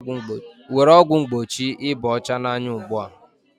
Were ọgwụ mgbochi ịba ọcha n'anya ugbu a